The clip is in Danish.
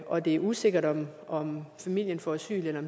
og det er usikkert om om familien får asyl eller